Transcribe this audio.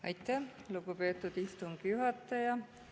Aitäh, lugupeetud istungi juhataja!